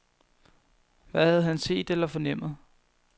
Hvad havde han set eller fornemmet?